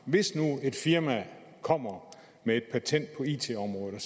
hvis nu et firma kommer med et patent på it området og